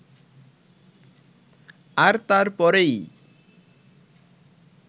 আর তার পরেই